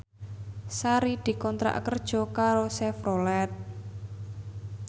Sari dikontrak kerja karo Chevrolet